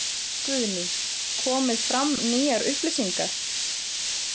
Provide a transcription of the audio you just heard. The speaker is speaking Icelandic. Guðný: Komið fram nýjar upplýsingar?